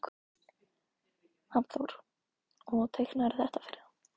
Hafþór: Og teiknaðirðu þetta fyrir hann?